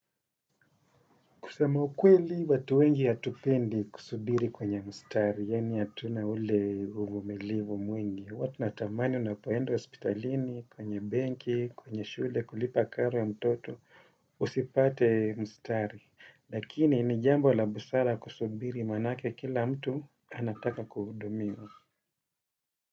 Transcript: Kusema ukweli watu wengi hatupendi kusubiri kwenye mstari, yaani hatuna ule uvumilivu mwingi. Huwa tu natamani unapoenda hospitalini, kwenye benki, kwenye shule, kulipa karo ya mtoto, usipate mstari. Lakini ni jambo la busara kusubiri maanake kila mtu anataka kuhudumiwa.